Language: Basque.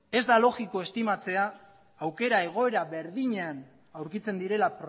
ez da logikoa estimatzea aukera egoera berdinean aurkitzen direla